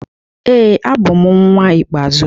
Ee, abụ m nnwa ikpeazụ.